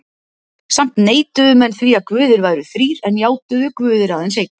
Samt neituðu menn því að guðir væru þrír en játuðu: Guð er aðeins einn.